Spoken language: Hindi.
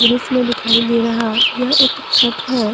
दृश्य में दिखाई दे रहा यह एक छत है।